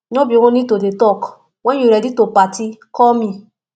no be only to dey talk wen you ready to party call me